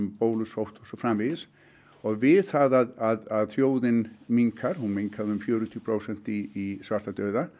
bólusótt og svo framvegis og við það að þjóðin minnkar hún minnkaði um fjörutíu prósent í svartadauða